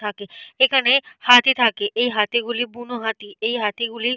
থাকে। এখানে হাতি থাকে। এই হাতিগুলি বুনো হাতি। এই হাতিগুলি --